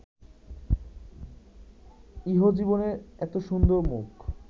ইহজীবনে এত সুন্দর মুখ